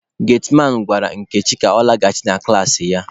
Getiman gwara Nkechi ka ọ laghachi na klaasị ya.